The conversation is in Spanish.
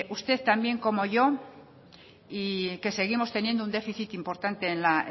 usted tan bien como yo que seguimos teniendo un déficit importante en la